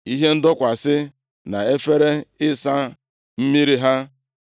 ihe ndọkwasị na efere ịsa mmiri ha,